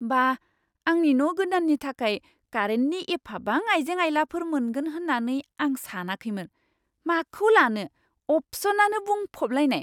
बा, आंनि न' गोदान्नि थाखाय कारेन्टनि एफाबां आइजें आइलाफोर मोनगोन होन्नानै आं सानखैमोन, माखौ लानो, अपसनआनो बुंफबलायनाय!